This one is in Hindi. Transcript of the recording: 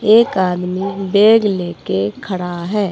एक आदमी बैग लेके खड़ा है।